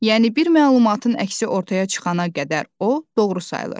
Yəni bir məlumatın əksi ortaya çıxana qədər o doğru sayılır.